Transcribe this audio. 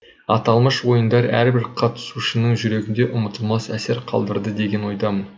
аталмыш ойындар әрбір қатысушының жүрегінде ұмытылмас әсер қалдырды деген ойдамын